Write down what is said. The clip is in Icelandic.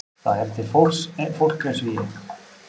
Það er til fólk eins og ég.